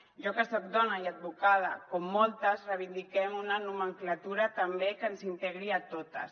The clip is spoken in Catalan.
jo que soc dona i advocada com moltes reivindiquem una nomenclatura també que ens integri a totes